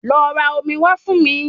Lọ ra omi wá fún mi